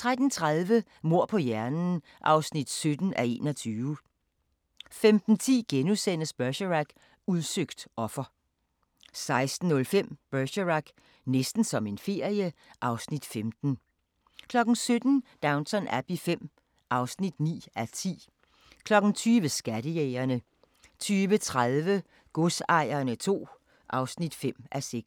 13:30: Mord på hjernen (17:21) 15:10: Bergerac: Udsøgt offer * 16:05: Bergerac: Næsten som en ferie (Afs. 15) 17:00: Downton Abbey V (9:10) 20:00: Skattejægerne 20:30: Godsejerne II (5:6)